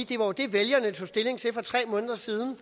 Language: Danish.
det var det vælgerne tog stilling til for tre måneder siden og